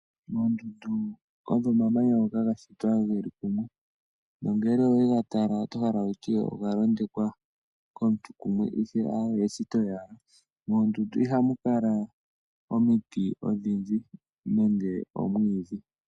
Oondundu odho omamanya ngoka ga shitwa geli kumwe, nongele owega tala oto hala wutye oga londekwa komuntu kumwe ihe aawe eshito owala. Moondundu ihamu kala omiti odhindji nenge omwiidhi.